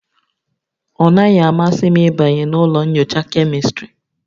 Ọ naghị-amasị m ịbanye na ụlọ nyocha Kemịstrị